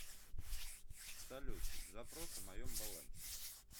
салют запрос о моем балансе